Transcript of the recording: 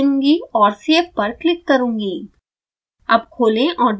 मैं डेस्कटॉप चुनूँगी और सेव कर क्लिक करुँगी